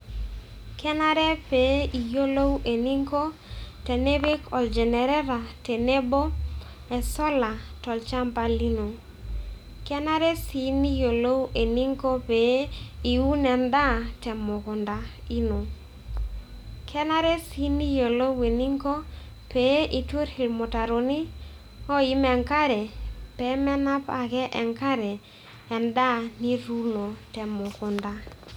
Kenare pee iyolou eninko tenipik olgenereta tenebo o solar tolchamba lino. Kenare sii niyolou eninko pee iun endaa te mukunda ino. Kenare sii niyolou eninko pee itur irmutaroni oim enkare pee menap ake enkare endaa nituuno te mukunda.